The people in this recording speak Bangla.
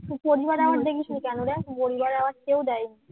দেখ পরিবার award কেউ দেয়নি